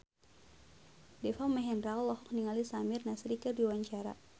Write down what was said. Deva Mahendra olohok ningali Samir Nasri keur diwawancara